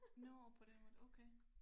Nåh på den måde okay